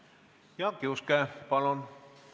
Jaak Juske, palun!